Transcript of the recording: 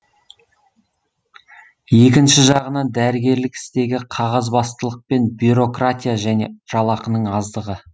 екінші жағынан дәрігерлік істегі қағазбастылық пен бюрократия және жалақының аздығы